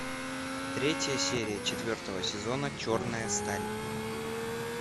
третья серия четвертого сезона черная сталь